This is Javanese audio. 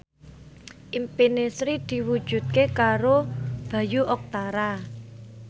impine Sri diwujudke karo Bayu Octara